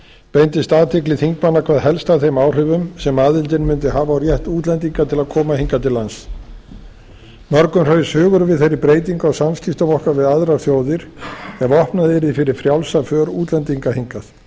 beindist athygli þingmanna hvað helst að þeim áhrifum sem aðildin mundi hafa á rétt útlendinga til að koma hingað til lands mörgum hraus hugur við þeirri breytingu á samskiptum okkar við aðrar þjóðir ef opnað yrði fyrir frjálsa för útlendinga hingað